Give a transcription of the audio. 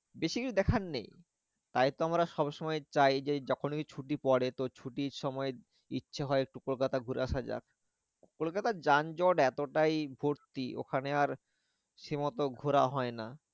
বেশি কিছু দেখার নেই। তাই তো আমরা সব সময় চাই যে যখনি ছুটি পরে তো ছুটির সময় ইচ্ছে হয় একটু কলকাতা ঘুরে আশা যাক। কলকাতার যান জট এতটাই ভর্তি ওখানে আর সেই মতো ঘোরা হয় না।